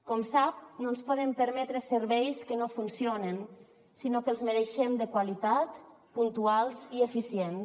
com sap no ens podem permetre serveis que no funcionen sinó que els mereixem de qualitat puntuals i eficients